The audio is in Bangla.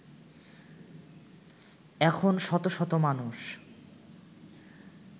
এখন শত শত মানুষ